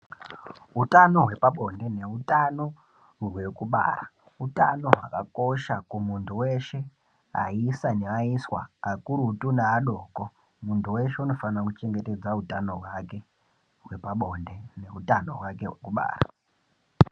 Hutano hwepabonde nehutano hwekubara hutano hwakakosha kumuntu weshe ayisa neayiswa akurutu neadoko muntu weshe unofana kuchengedza hutano hwake hwepabonde nehutano hwake hwekubara.